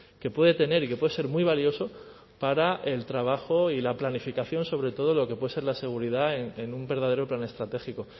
que puede tener y que puede ser muy valioso para el trabajo y la planificación sobre todo de lo que puede ser la seguridad en un verdadero plan estratégico